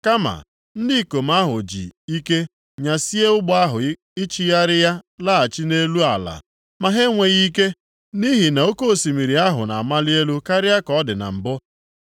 Kama, ndị ikom ahụ ji ike nyasie ụgbọ ahụ ichigharị ya laghachi nʼelu ala, ma ha enweghị ike. Nʼihi na oke osimiri ahụ na-amali elu karịa ka ọ dị na mbụ.